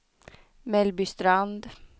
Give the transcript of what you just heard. Mellbystrand